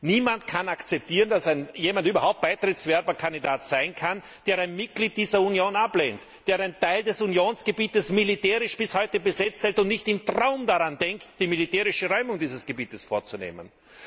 Niemand kann akzeptieren, dass jemand überhaupt Beitrittskandidat sein kann, der ein Mitglied dieser Union ablehnt, der einen Teil des Unionsgebietes bis heute militärisch besetzt hält und nicht im Traum daran denkt, die militärische Räumung dieses Gebiets vorzunehmen.